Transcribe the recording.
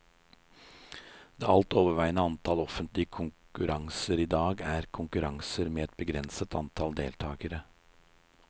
Det alt overveiende antall offentlige konkurranser i dag er konkurranser med et begrenset antall deltakere.